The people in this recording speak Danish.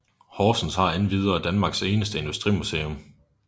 Horsens har endvidere Danmarks eneste industrimuseum